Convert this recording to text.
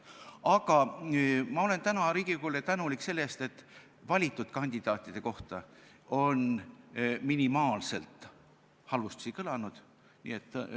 Aga ma olen täna Riigikogule tänulik selle eest, et valitud kandidaatide kohta on halvustusi kõlanud minimaalselt.